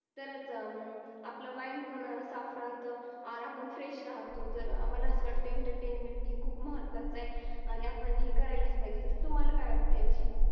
तर अस आपल मैंड पण सोफ्ट राहत आन आपन श्रेष्ठ राहतो तर मला अस वाटतंय एंटरटेनमेंट हे खूप महत्वाच आहे आणि आपन हे करायलाच पाहिजे. तुम्हाला काय वाटतय